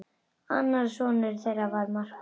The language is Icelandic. Annar sonur þeirra var Markús.